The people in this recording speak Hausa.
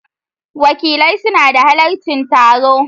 Wakilai suna halarci taro